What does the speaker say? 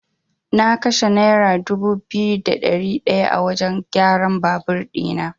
Na kashe naira dubu biyu da ɗari ɗaya a wajan kyaran babur ɗina.